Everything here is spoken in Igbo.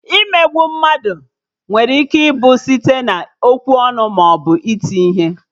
Imegbu mmadụ nwere ike ịbụ site na-okwu ọnụ maọbụ iti ihe